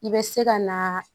I bɛ se ka naaa